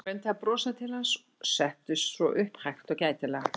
Hún reyndi að brosa til hans og settist svo upp hægt og gætilega.